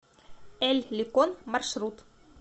эль ликон маршрут